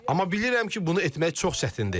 Amma bilirəm ki, bunu etmək çox çətindir.